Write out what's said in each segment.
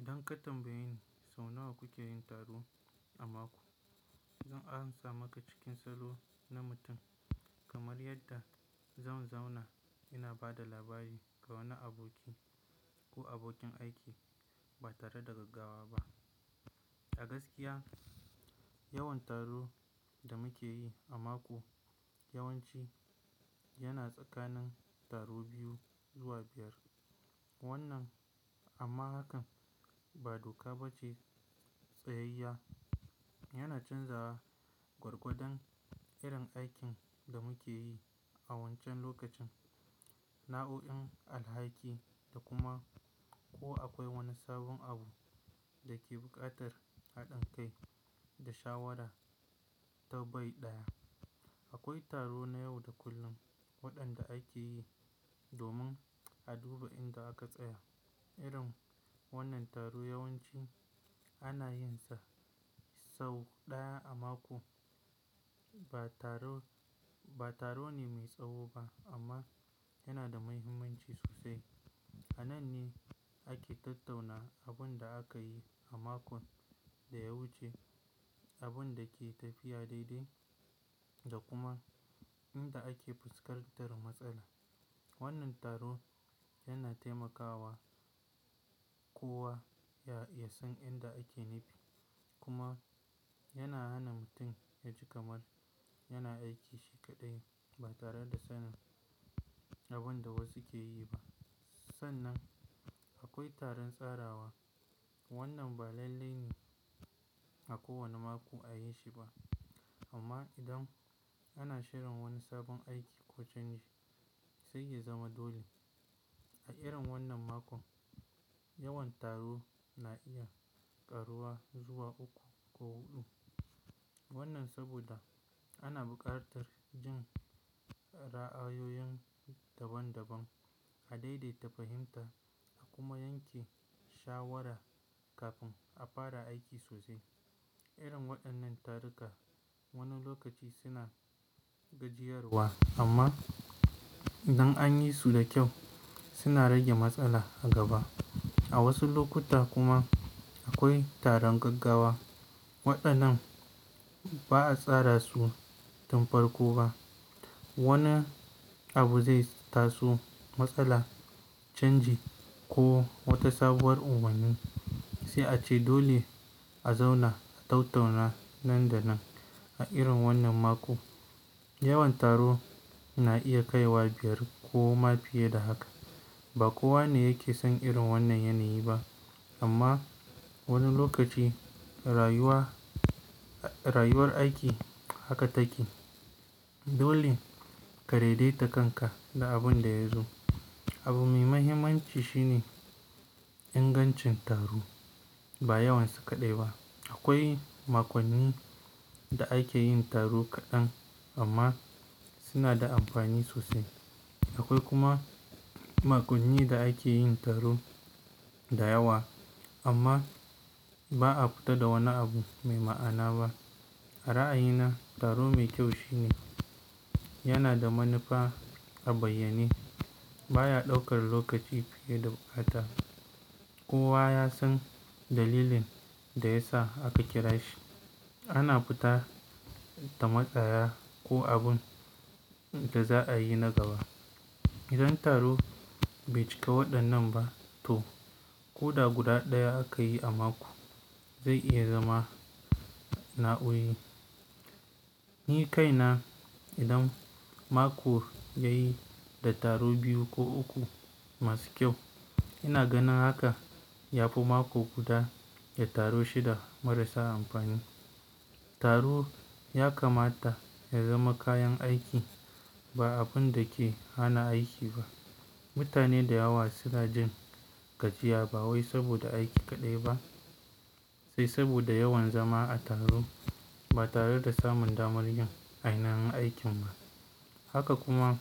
Idan ka tambayi sau nawa kuke yin taro a mako, zan ansa maka cikin salo na mutum kamar yadda zan zauna ina ba da labari ga wani aboki ko abokin aiki ba tare da gaggawa ba. A gaskiya yawan taro da muke yi a mako yawanci yana tsakanin taro biyu zuwa biyar. Wannan amma hakan ba doka ba ce. Tsayayya yana canzawa gwargwadon irin aikin da muke yi a wancan lokacin, nao'in alhaki da kuma ko akwai wani sabon abu da ke buƙatar haɗin kai da shawara ta bai ɗaya. Akwai taro na yau da kullum waɗanda ake yi domin a duba inda aka tsaya. Irin wannan taro yawanci ana yinsa sau ɗaya a mako. Ba taro, ba taro ne mai tsawo ba amma yana da muhimmanci sosai. A nan ne ake tattauna abun da aka yi a makon da ya wuce, abun da ke tafiya daidai da kuma inda ake fuskantar matsala. Wannan taro yana taimakawa kowa ya, ya san inda ake nifi kuma yana hana mutun ya ji kamar yana aiki shi kaɗai ba tare da sanin abun da wasu ke yi ba. Sannan akwai taron tsarawa. Wannan ba lalle ne a kowane mako a yi shi ba amma idan ana shirin wani sabon aiki ko canji sai ya zama dole. A irin wannan makon yawan taro na iya karuwa zuwa uku ko huɗu. Wannan saboda ana buƙatar jin ra'ayoyin daban daban, a daidaita fahimta a kuma yanke shawara kafin a fara aiki sosai. Irin waɗannan taruka wani lokaci suna gajiyarwa amma idan an yi su da kyau suna rage matsala a gaba. A wasu lokuta kuma akwai taron gaggawa. Waɗannan ba a tsara su tun farko ba. Wani abu zai taso, matsala, canji ko wata sabuwar umarni, sai a ce dole a zauna a tattauna nan da nan. A irin wannan mako yawan taro na iya kaiwa biyar ko ma fiye da haka. Ba kowa ne yake son irin wannan yanayi ba amma wani lokaci rayuwa, rayuwar aiki haka take. Dole ka daidaita kanka da abin da ya zo. Abu mai mahimmanci shine ingancin taro ba yawansa kaɗai ba. Akwai makonni da ake yin taro kaɗan amma suna da amfani sosai. Akwai kuma makonni da ake yin taro da yawa amma ba a fita da wani abu mai ma'ana ba. A ra'ayina taro mai kyau shine yana da manufa a bayyane, baya ɗaukar lokaci fiye da bukata. Kowa ya san dalilin da ya sa aka kira shi. Ana fita da matsaya ko abin da za a yi na gaba. Idan taro bai cika waɗannan ba to koɗa guda ɗaya aka yi a mako zai iya zama nauyi. Ni kaina idan mako ya yi da taro biyu ko uku masu kyau ina ganin haka ya fi mako guda da taro shida marasa amfani. Taro ya kamata ya zama kayan aiki ba abun da ke hana aiki ba. Mutane da yawa suna jin gajiya ba wai saboda aiki kaɗai ba sai saboda yawan zama a taro ba tare da samun damar yin ainahin aikin ba. Haka kuma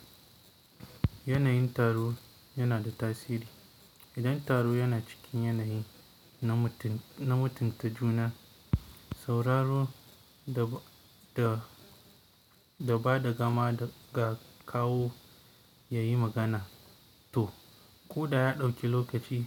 yanayin taro yana da tasiri. Idan taro yana cikin yanayi na mutun, na mutunta juna, sauraro da, da, da bada gama ga kawo yayi magana to ko da ya ɗauki lokaci.